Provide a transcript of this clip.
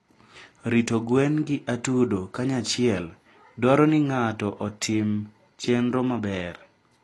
Rito gwen gi atudo kanyachiel dwaro ni ng'ato otim chenro maber.